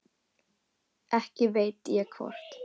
Ekki veit ég hvort